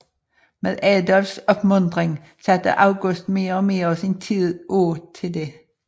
Med Adolfs opmuntring satte August mere og mere af sin tid af til det